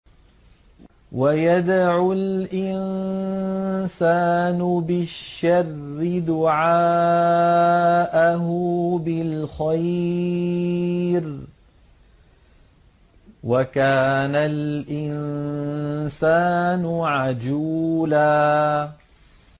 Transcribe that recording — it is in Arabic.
وَيَدْعُ الْإِنسَانُ بِالشَّرِّ دُعَاءَهُ بِالْخَيْرِ ۖ وَكَانَ الْإِنسَانُ عَجُولًا